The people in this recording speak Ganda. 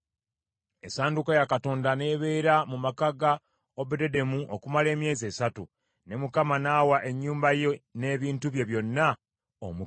Essanduuko ya Katonda n’ebeera mu maka ga Obededomu okumala emyezi esatu, ne Mukama n’awa ennyumba ye n’ebintu bye byonna omukisa.